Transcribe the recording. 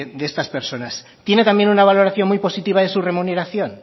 de estas personas tiene también una valoración muy positiva de su remuneración